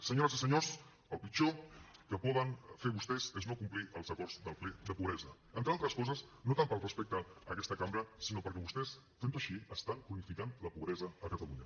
senyores i senyors el pitjor que poden fer vostès és no complir els acords del ple de pobresa entre altres coses no tant pel respecte a aquesta cambra sinó perquè vostès fent ho així estan cronificant la pobresa a catalunya